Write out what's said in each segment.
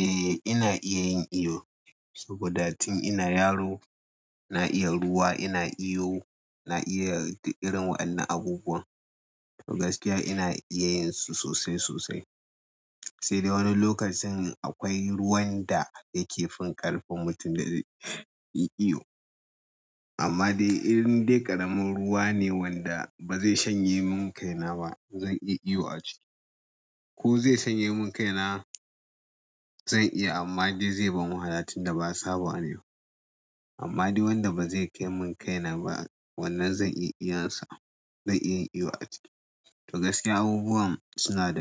Eh ina iya yin iyo. Saboda tin ina yaro na iya ruwa, ina iyo, na iya duk irin waɗannan abubuwan. To gaskiya ina iya yin su sosai sosai. Sai dai wani lokacin akwai ruwan da yake fin ƙarfin mutum da zai iya iyo. Amma dai irin in dai ƙaramin ruwa ne wanda ba zai shanye min kaina ba zan iya iyo a ciki. Ko zai shanye min kaina zan iya amma dai zai bani wahala tin da ba sabawa nayi ba. Amma dai wanda ba zai kai min kaina ba wannan zan iya iyansa, zan iya iyo a ciki. To gaskiya abubuwan suna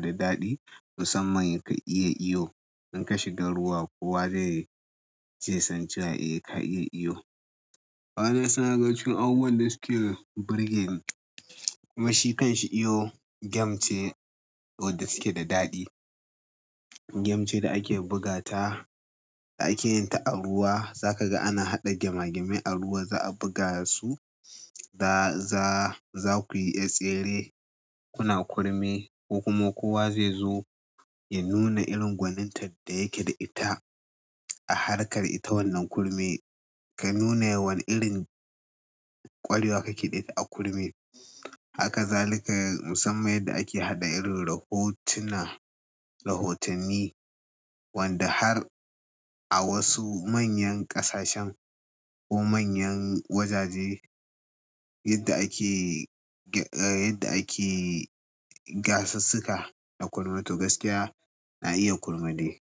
da daɗi musamman yin iyo in ka shiga ruwa kowa zai je san cewa eh ka iya iyo. Wannan suna daga cikin abubuwan da suke burgeni kuma shi kanshi iyo game ce wadda suke da daɗi. Game ce da ake buga ta, da ake yin ta a ruwa. Za ka ga ana haɗa gema gemai a ruwa za a buga su. Za-za-zakuyi tsere kuna kurmi ko kuma kowa zai zo ya nuna irin gwanin ta da yake da ita a harkar ita wannan kurmi ka nuna wani irin ƙwarewa kaƙe ɗa ita a kurmi. Haka zalika musamman yadda ake haɗa irin rahotuna, rahotanni wanda har a wasu manyan ƙasashen ko manyan wajaje yadda ake, ah yadda ake gasassuka da kurma. To gaskiya na iya kurma dai.